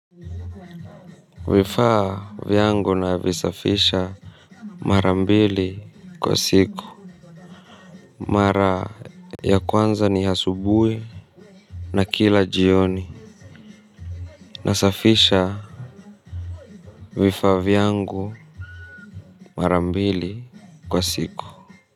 Vifa vyangu na visafisha marambili kwa siku. Mara ya kwanza ni hasubui na kila jioni. Nasafisha vifa vyangu marambili kwa siku.